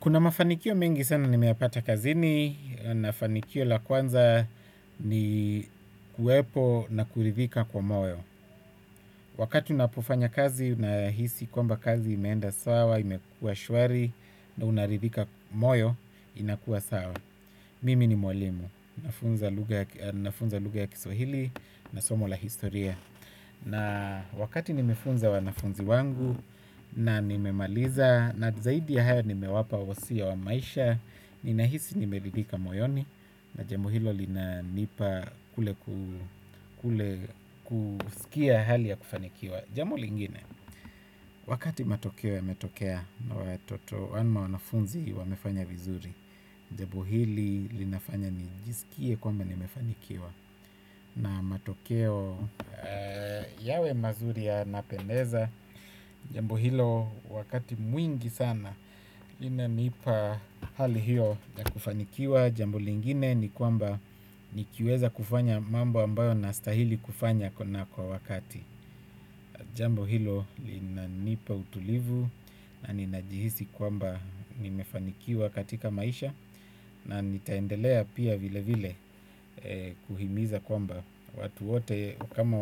Kuna mafanikio mengi sana nimeyapata kazini, na mafanikio ya kwanza ni kuwepo na kuridhika kwa moyo. Wakati unapofanya kazi nahisi kwamba kazi imeenda sawa, imekuwa shwari, na unaridhika moyo, inakuwa sawa. Mimi ni mwalimu, nafunza luga ya kiswahili, na somo la historia. Na wakati nimefunza wanafunzi wangu na nimemaliza na zaidi ya haya nimewapa wasia wa maisha. Ninahisi nimeridhika moyoni na jambo hilo linanipa kule kusikia hali ya kufanikiwa. Jambo lingine, wakati matokeo yametokea ya watoto ama wanafunzi wamefanya vizuri. Jambo hili linafanya nijisikie kwamba nimefanikiwa. Na matokeo yawe mazuri yanapendeza. Jambo hilo wakati mwingi sana inanipa hali hiyo ya kufanikiwa. Jambo lingine ni kwamba nikiweza kufanya mambo ambayo na stahili kufanya kwa wakati. Jambo hilo linanipa utulivu na ninajihisi kwamba nimefanikiwa katika maisha. Na nitaendelea pia vile vile kuhimiza kwamba watu wote kama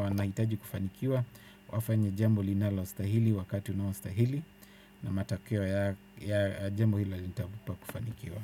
wanahitaji kufanikiwa wafanye jambo linalostahili wakati unaostahili na matokeo ya jambo hilo litakupa kufanikiwa.